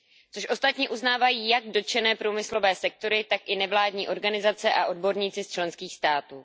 Což ostatně uznávají jak dotčené průmyslové sektory, tak i nevládní organizace a odborníci z členských států.